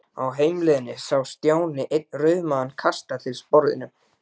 Á heimleiðinni sá Stjáni einn rauðmagann kasta til sporðinum.